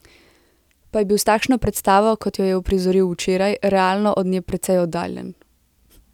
Pa je bil s takšno predstavo, kot jo je uprizoril včeraj, realno od nje precej oddaljen.